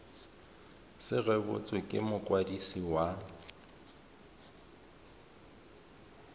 se rebotswe ke mokwadisi wa